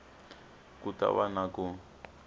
ku ta va na ku